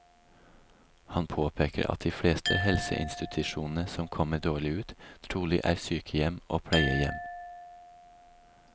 Han påpeker at de fleste helseinstitusjonene som kommer dårlig ut, trolig er sykehjem og pleiehjem.